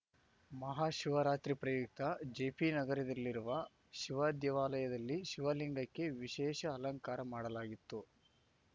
ಮಹಾಶಿವರಾತ್ರಿ ಪ್ರಯುಕ್ತ ಜೆಪಿ ನಗರದಲ್ಲಿರುವ ಶಿವ ದೇವಾಲಯದಲ್ಲಿ ಶಿವಲಿಂಗಕ್ಕೆ ವಿಶೇಷ ಅಲಂಕಾರ ಮಾಡಲಾಗಿತ್ತು